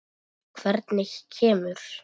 Hvernig kemur